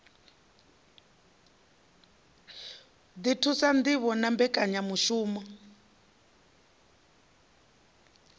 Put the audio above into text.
ḓi thusa ṋdivho na mbekanyamushumo